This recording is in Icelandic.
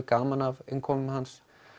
gaman af innkomu hans